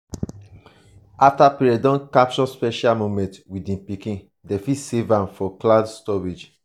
after parents don capture special moment with di pikin dem fit save am for cloud storage